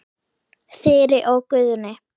Þyri og Guðni.